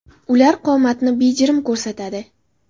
Ular qomatni bejirim ko‘rsatadi.